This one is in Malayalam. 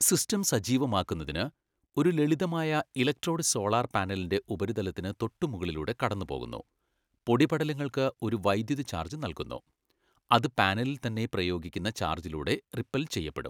സിസ്റ്റം സജീവമാക്കുന്നതിന്, ഒരു ലളിതമായ ഇലക്ട്രോഡ് സോളാർ പാനലിന്റെ ഉപരിതലത്തിന് തൊട്ടുമുകളിലൂടെ കടന്നുപോകുന്നു, പൊടിപടലങ്ങൾക്ക് ഒരു വൈദ്യുത ചാർജ് നൽകുന്നു, അത് പാനലിൽ തന്നെ പ്രയോഗിക്കുന്ന ചാർജിലൂടെ റിപ്പെൽ ചെയ്യപ്പെടും.